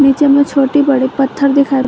नीचे में छोटी बड़ी पत्थर दिखाई--